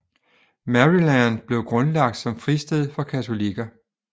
Maryland blev grundlagt som fristed for katolikker